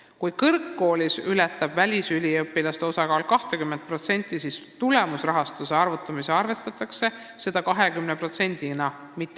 Kui välisüliõpilaste osakaal ületab kõrgkoolis 20%, siis läheb see tulemusrahastuse mahu arvutamisel ikkagi arvesse 20%-na.